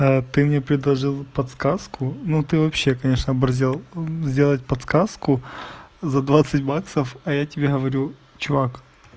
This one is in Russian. ты мне предложил подсказку но ты вообще конечно оборзел сделать подсказку за двадцать баксов а я тебе говорю чувак